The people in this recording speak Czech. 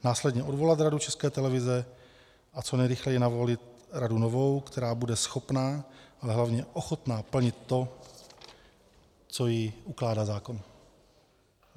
Následně odvolat Radu České televize a co nejrychleji navolit radu novou, která bude schopna a hlavně ochotna plnit to, co jí ukládá zákon.